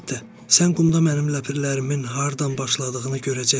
Əlbəttə, sən qumda mənim ləpirlərimin hardan başladığını görəcəksən.